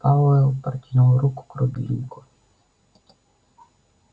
пауэлл протянул руку к рубильнику